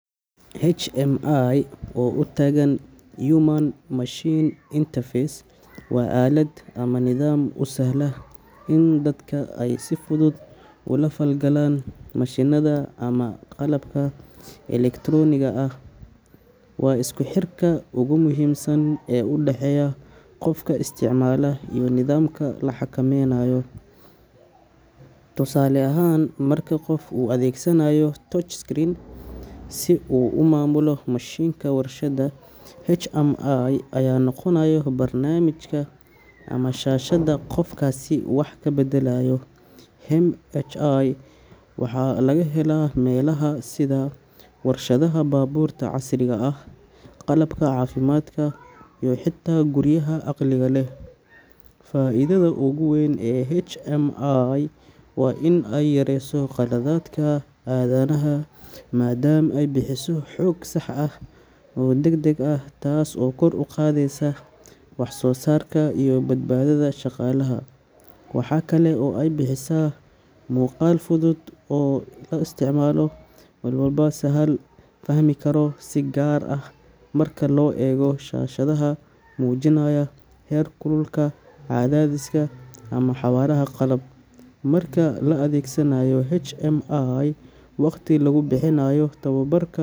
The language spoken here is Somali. HMI oo u taagan Human-Machine Interface waa aalad ama nidaam u sahla in dadka ay si fudud ula falgalaan mashiinada ama qalabka elektarooniga ah. Waa isku xirka ugu muhiimsan ee u dhexeeya qofka isticmaala iyo nidaamka la xakameynayo. Tusaale ahaan, marka qof uu adeegsanayo touch screen si uu u maamulo mashiinka warshadda, HMI ayaa noqonaya barnaamijka ama shaashada qofkaasi wax ka beddelayo. HMI waxaa laga helaa meelaha sida warshadaha, baabuurta casriga ah, qalabka caafimaadka iyo xitaa guriyaha caqliga leh. Faa'iidada ugu weyn ee HMI waa in ay yareyso qaladaadka aadanaha maadaama ay bixiso xog sax ah oo deg deg ah, taas oo kor u qaadaysa waxsoosaarka iyo badbaadada shaqaalaha. Waxaa kale oo ay bixisaa muuqaal fudud oo isticmaale walba si sahal ah u fahmi karo, si gaar ah marka la eego shaashadaha muujinaya heer kulka, cadaadiska ama xawaaraha qalab. Marka la adeegsanayo HMI, waqtiga lagu bixinayo tababar.